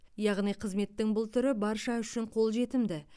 яғни қызметтің бұл түрі барша үшін қолжетімді